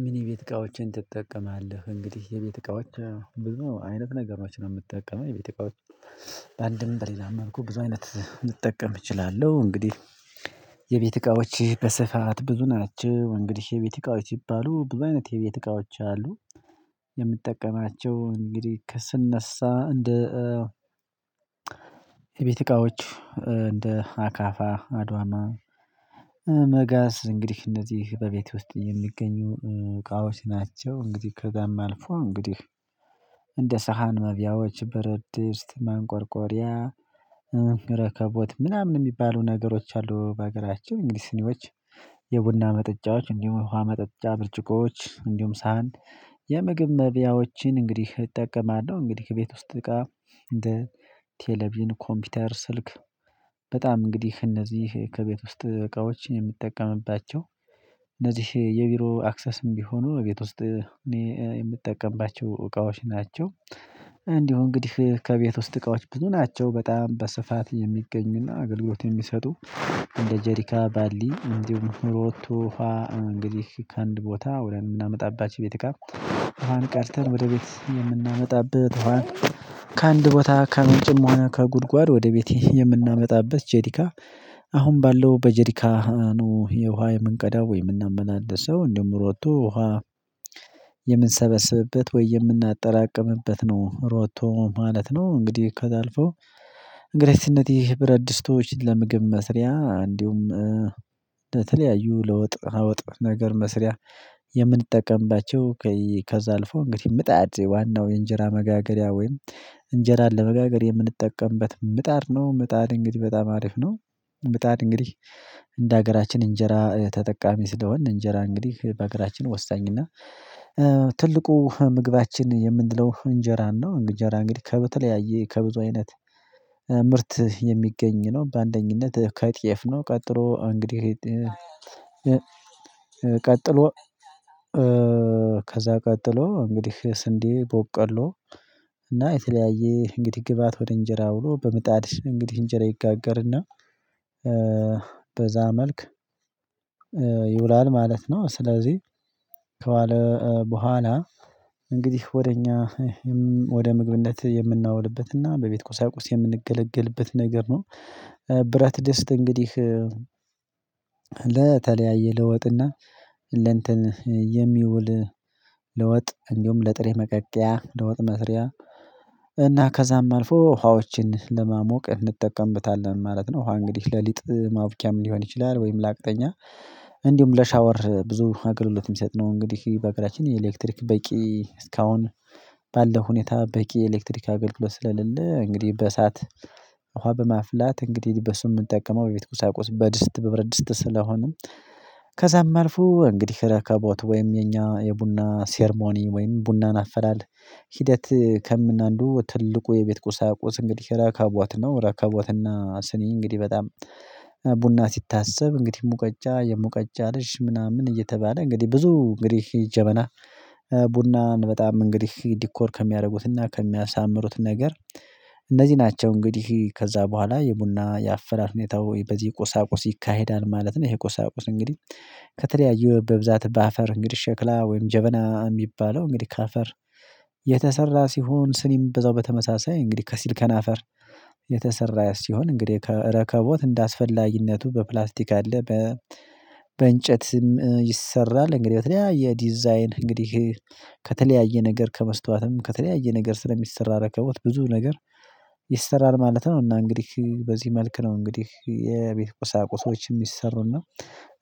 ምን? የቤት እቃዎችን ትጠቀማለህ እንግዲህ የቤት እቃዎች ብዙ አይነት ነገሮች ነው ምትጠቀመው የቤት እቃዎች በአንድም በሌላ መልኩ ብዙ አይነት ልጠቀም እችላለሁ። እንግዲህ። የቤት እቃዎች በስፋት ብዙ ናቸው እንግዲህ የቤት እቃዎች ይባሉ ብዙ አይነት የቤት እቃዎች አሉ። የምጠቀማቸው እንግዲህ ከስነሳ እንደ የቤት እቃዎች እንደ አካፋ አድዋማ መጋዝ እንግዲህ እነዚህ በቤት ውስጥ የሚገኙ እቃዎች ናቸው። እንግዲህ ከዛም አልፎ እንግዲህ እንደ ሳህን መብያዎች በረድስት ማንቆርቆሪያ ረከቦት ምናምን ሚባሉ ነገሮች አሉ። በሀገራችን እንግዲህ ስኒዎች የቡና መጠጫዎች እንዲሁም ውሃ መጠጫ ብርጭቆዎች እንዲሁም ሳህን የምግብ መብያዎችን እንግዲህ እጠቀማለሁ። እንግዲህ እቤት ውስጥ እቃ እንደ ቴሌቪዥን ኮምፒውተር ስልክ። በጣም እንግዲህ እነዚህ ከቤት ውስጥ እቃዎች የምትጠቀምባቸው እነዚህ የቢሮ አክሰስም ቢሆኑ ቤት ውስጥ የምትጠቀምባቸው እቃዎች ናቸው። እንዲሁ እንግዲህ ከቤት ውስጥ እቃዎች ብዙ ናቸው። በጣም በስፋት የሚገኝና አገልግሎት የሚሰጡ። እንደ ጄሪካ ባሊ እንዲሁም ሮቶ ውሃ እንግዲህ ከአንድ ቦታ ወደምናመጣባችሁ የቤት እቃ ቀርተን ወደ ቤት የምናመጣበት። ከአንድ ቦታ ከምንጭም ሆነ ከጉድጓድ ወደ ቤት የምናመጣበት ጄዲካ። አሁን ባለው በጀርካ ነው የውሃ የምንቀዳው የምናመላለሰው እንደውም ሮቶ ውሃ የምንሰበስብበት ወይ የምናጠራቅምበት ነው ሮቶ ማለት ነው። እንግዲህ ከዛ አልፎ እንግሊዘ ይህ ብረት ድስቶች ለምግብ መስሪያ እንዲሁም ለተለያዩ ለውጥ አውጥ ነገር መስሪያ። የምንጠቀምባቸው ከዛህ አልፎ እንግዲህ ምጣድ ዋናው የእንጀራ መጋገሪያ ወይም እንጀራን ለመጋገር የምንጠቀምበት ምጣድ ነው። ምጣድ እንግዲህ በጣም አሪፍ ነው። ብጣድ እንግዲህ እንደ ሀገራችን እንጀራ ተጠቃሚ ስለሆንን እንጀራ እንግዲህ በሀገራችን ወሳኝና ትልቁ ምግባችን የምንለው እንጀራ ነው። እንጀራ እንግዲህ ከበተለያየ ከብዙ አይነት ምርት የሚገኝ ነው። በአንደኝነት ከጤየፍ ነው ቀጥሎ እንግዲህ ቀጥሎ ከዛ ቀጥሎ እንግዲህ ስንዴ ቦቀሎ እና የተለያየ እንግዲህ ግብአት ወደ እንጀራ ብሎ በምጣድ እንግዲህ እንጀራ ይጋገርና በዛ መልክ ይውላል ማለት ነው። ስለዚህ ከዋለ በኋላ እንግዲህ ወደ እኛ ወደ ምግብነት የምናውልበትና በቤት ቁሳቁስ የምንገለገልበት ነገር ነው። ብረት ደስት እንግዲህ ለተለያየ ለወጥና ለእንትን የሚውል ለወጥ እንዲሁም ለጥሬ መቀቀያ ለወጥ መስሪያ እና ከዛም አልፎ ውሃዎችን ለማሞቅ እንጠቀምበታለን ማለት ነው። ውሃ እንግዲህ ለሊጥ ማብኪያም ሊሆን ይችላል። ወይም ለአቅጠኛ እንዲሁም ለሻወር ብዙ አገልግሎት ሚሰጥ ነው። እንግዲህ በአገራችን ኤሌክትሪክ በቂ እስካሁን ባለው ሁኔታ በቂ የኤሌክትሪክ አገልግሎት ስለሌለ እንግዲህ በእሳት እውሃ በማፍላት እንግዲህ በሱም ምንጠቀመው የቤት ቁሳቁስ በድስት በብርድስት ስለሆነም። ከዛም አልፎ እንግዲህ ረከቦት ወይም የኛ የቡና ሴርሞኒ ወይም ቡናን አፈላል ሂደት ከምን አንዱ ትልቁ የቤት ቁሳቁስ እንግዲህ ረከቦት ነው። ረከቦትና ስኒ እንግዲህ በጣም ቡና ሲታሰብ እንግዲህ ሙቀጃ የሙቀጃ ልጅ ምናምን እየተባለ እንግዲህ ብዙ እንግዲህ ጀበና ቡናን በጣም እንግዲህ ዲኮር ከሚያደርጉትና ከሚያሳምሩት ነገር እነዚህ ናቸው። እንግዲህ ከዛ በኋላ የቡና የአፈላል ሁኔታው በዚህ ቁሳቁስ ይካሄዳል ማለት ነው። ይሄ ቁሳቁስ እንግዲህ ከተለያዩ በብዛት በአፈር እንግዲህ ሸክላ ወይም ጀበና ሚባለው እንግዲህ ከአፈር የተሰራ ሲሆን ስኒም በዛው በተመሳሳይ እንግዲህ ከሲልከን አፈር የተሰራ ሲሆን እንግዲህ ከረከቦት እንደአስፈላጊነቱ በፕላስቲክ አለ። በእንጨትም ይሰራል እንግዲህ በተለያየ ዲዛይን እንግዲህ ከተለያየ ነገር ከመስታወትም ከተለያየ ነገር ስለሚሰራ ረከቦት ብዙ ነገር ይሰራል ማለት ነው። እና እንግዲህ በዚህ መልክ ነው እንግዲህ የቤት ቁሳቁሶችም ሚሰሩና።